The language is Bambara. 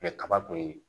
kaba kɔni